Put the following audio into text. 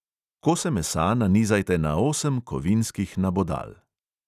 Kose mesa nanizajte na osem kovinskih nabodal.